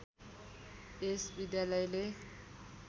यस विद्यालयले